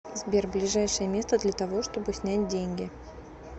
сбер ближайшее место для того чтобы снять деньги